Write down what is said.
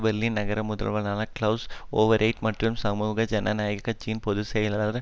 Berlin நகர முதல்வரான Klaus Wowereit மற்றும் சமூக ஜனநாயக கட்சியின் பொது செயலாளர்